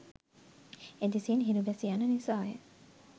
එදෙසින් හිරු බැස යන නිසා ය.